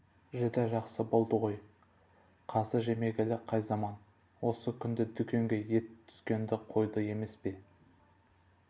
жүдә жақсы болды ғой қазы жемегелі қай заман осы күнде дүкенге ет түскенді қойды емес пе